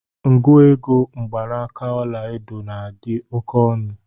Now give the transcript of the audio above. Nguoge mgbanaaka ọla edo na adị oke ọnụ.